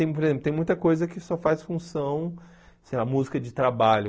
E tem por exemplo tem muita coisa que só faz função, sei lá, música de trabalho.